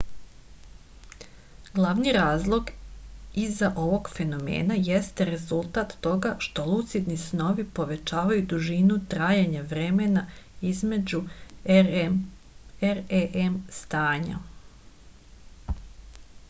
glavni razlog iza ovog fenomena jeste rezultat toga što lucidni snovi povećavaju dužinu trajanja vremena između rem stanja